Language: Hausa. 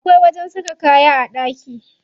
Akwai wajen saka kaya a ɗaki.